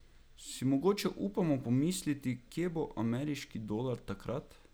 Si mogoče upamo pomisliti, kje bo ameriški dolar takrat?